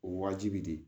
O wajibi de